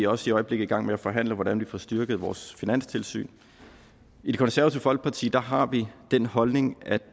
også i øjeblikket i gang med at forhandle hvordan vi får styrket vores finanstilsyn i det konservative folkeparti har vi den holdning at